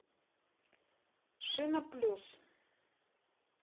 шина плюс